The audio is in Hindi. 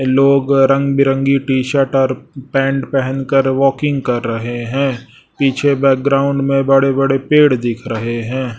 लोग रंग बिरंगी टी शर्ट और पैंट पहेनकर वॉकिंग कर रहे हैं पीछे बैकग्राउंड में बड़े बड़े पेड़ दिख रहे हैं।